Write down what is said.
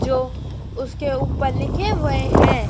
जो उसके ऊपर लिखे हुए हैं।